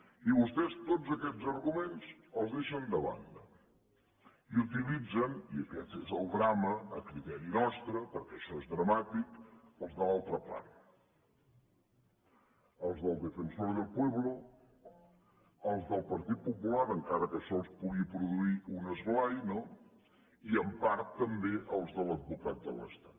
i vostès tots aquests arguments els deixen de banda i utilitzen i aquest és el drama a criteri nostre perquè això és dramàtic els de l’altra part els del defensor del pueblo els del partit popular encara que això els pugui produir un esglai i en part també els de l’advocat de l’estat